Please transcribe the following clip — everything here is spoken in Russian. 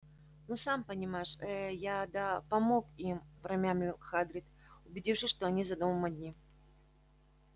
ну сам понимаешь э-э я да помог им промямлил хагрид убедившись что они за домом одни